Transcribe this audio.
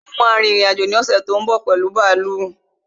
Mo ma rin ìrìn-àjò ní ọ̀ṣè tó ń bọ̀ pẹ̀lu bààlú